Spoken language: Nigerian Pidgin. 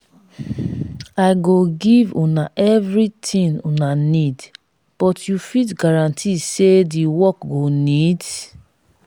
i go give una everything una need but you fit guarantee say the work go neat?